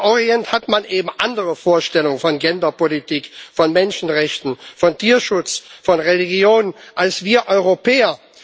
Und im Orient hat man eben andere Vorstellungen von Genderpolitik, von Menschenrechten, von Tierschutz, von Religion als wir Europäer.